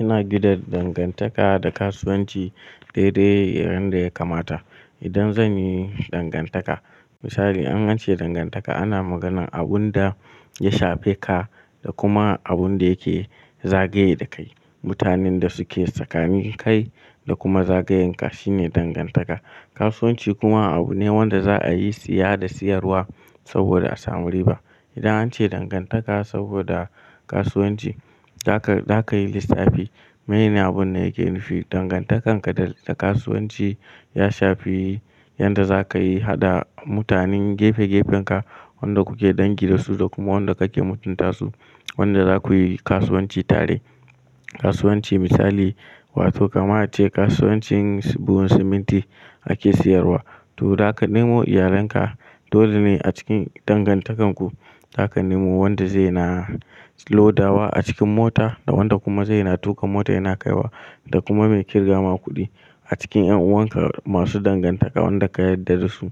Ina gina dangantaka da kasuwanci dai-dai yanda ya kamata. Idan zan yi dangantaka misali an ce dangantaka ana maganan abun da ya shafe ka da kuma abun da yake zagaye da kai. Mutanan da suke tsakanin kai da kuma zagayenka shine dangantaka. Kasuwanci kuma abu ne wanda za a yi siya da siyarwa saboda a samu riba. Idan an ce dangantaka saboda kasuwanci, za ka, za ka yi lissafi. Menene abun da yake nufi? Dangantakan ka da, da kasuwanci ya shafi yanda za ka yi hada mutanen gefe-gefenka, wanda kuke dangi da su da kuma wanda kake mutunta su, wanda za ku yi kasuwanci tare. Kasuwanci misali wato kama a ce kasuwancin buhun siminti ake siyarwa to za ka nemo iyalenka, dole ne a cikin dangantakar ku, za ka nemo wanda zai na lodawa a cikin mota da wanda kuma zai na tuka mota yana kaiwa da kuma mai ƙirga ma kuɗi. A cikin ƴan'uwan ka masu dangantaka wanda ka yarda da su,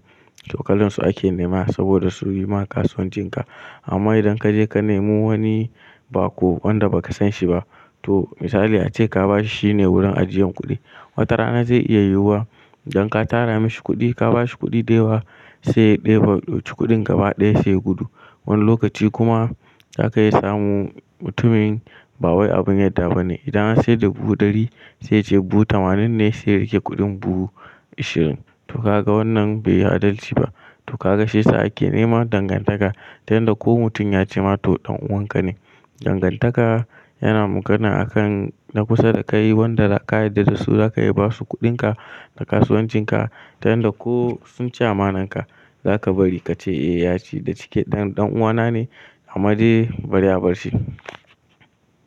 to kalansu ake nema saboda su yi ma kasuwancin ka. Amma idan ka je ka nemo wani baƙo wanda ba ka san shi ba to misali ace ka ba shi shine wurin ajiyan kuɗi. Wata rana zai iya yiwuwa idan ka tara mashi kuɗi, ka ba shi kuɗi da yawa sai ɗeba kuɗin gaba ɗaya sai gudu. Wani lokaci kuma za ka iya samun mutumin ba wai abun yarda ba ne. Idan an sayar da buhu ɗari sai ya ce buhu tamanin ne sai ya riƙe kuɗin buhu ishirin. To ka ga wannan bai yi adalci ba. To ka ga shi sa ake nema dangantaka ta yanda ko mutum ya ci ma to ɗan'uwan ka ne. Dangantaka yana magana a kan na kusa da ka yi wanda ka yarda da su za ka iya ba su kuɗin ka da kasuwancin ka ta yanda ko sun ci amanar ka, za ka bari ka ce eh ya ci da cike dan ɗan'uwa na ne amma je bari a bar shi.